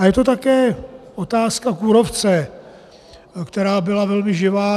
A je to také otázka kůrovce, která byla velmi živá.